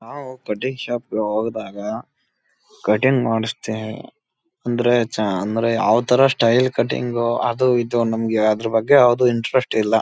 ನಾವು cutting shop ಗೆ ಹೋದಾಗ ಕಟಿಂಗ್ ಮಾಡಸ್ತೀವಿ ಅಂದ್ರೆ ಚಾ ಅಂದ್ರೆ ಯಾವ್ಥರ ಸ್ಟೈಲ್ ಕಟಿಂಗ್ ಅದು ಇದು ನಮ್ಗೆ ಅದ್ರ ಬಗ್ಗೆ ಯಾವ್ದು ಇಂಟ್ರೆಸ್ಟ್ ಇಲ್ಲ.